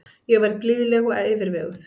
Ég verð blíðleg og yfirveguð.